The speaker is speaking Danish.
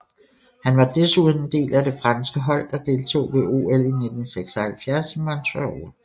Han var desuden en del af det franske hold der deltog ved OL 1976 i Montreal